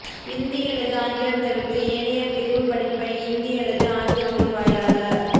இந்தி அல்லது ஆங்கிலம் தவிர்த்த ஏனைய பிரிவுப் படிப்பை இந்திஅல்லது ஆங்கில மொழி வாயிலாக